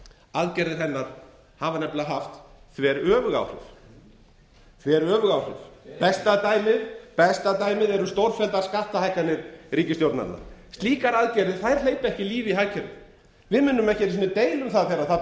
aðgerðir hennar hafa nefnilega haft þveröfug áhrif besta dæmið er stórfelldar skattahækkanir ríkisstjórnarinnar slíkar aðgerðir hleypa ekki lífi í hagkerfið við munum ekki einu sinni deila um það þegar það